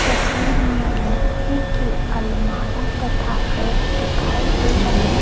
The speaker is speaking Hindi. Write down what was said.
तस्वीर में लोहै की अलमारी तथा रैक दिखाई दे रहै --